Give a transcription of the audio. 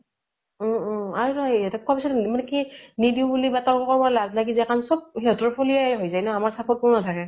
অ অ । আৰু নহয় কোৱা পিছত মানে কি নিদিও বুলি বা তৰ্ক কৰিব লাজ লাগি যায় । কাৰণ চব সিহঁতৰ ফলিয়াই হৈ যাই ন । আমাৰ support কোনো নাথাকে ।